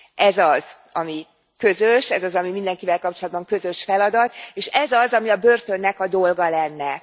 Ez az, ami mindenkivel kapcsolatban közös feladat, és ez az, ami a börtönnek a dolga lenne.